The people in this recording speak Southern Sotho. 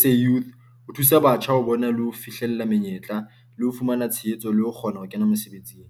SA Youth, ho thusa batjha ho bona le ho fihlella menyetla le ho fumana tshehetso le ho kgona ho kena mosebetsing.